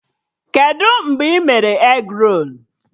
Kedụ mgbe ị mere egrolu?